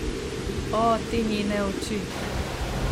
O, te njene oči.